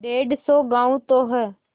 डेढ़ सौ गॉँव तो हैं